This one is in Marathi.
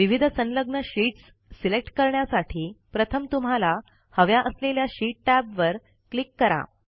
विविध संलग्न शीटस् सिलेक्ट करण्यासाठी प्रथम तुम्हाला हव्या असलेल्या शीट टॅबवर क्लिक करा